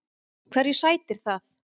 Hverju sætir það?